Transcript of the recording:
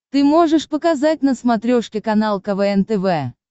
ты можешь показать на смотрешке канал квн тв